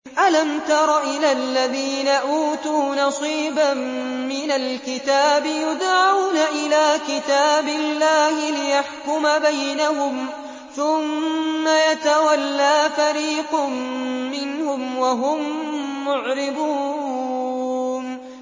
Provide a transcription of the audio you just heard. أَلَمْ تَرَ إِلَى الَّذِينَ أُوتُوا نَصِيبًا مِّنَ الْكِتَابِ يُدْعَوْنَ إِلَىٰ كِتَابِ اللَّهِ لِيَحْكُمَ بَيْنَهُمْ ثُمَّ يَتَوَلَّىٰ فَرِيقٌ مِّنْهُمْ وَهُم مُّعْرِضُونَ